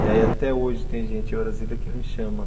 E aí até hoje tem gente em Brasília que me chama.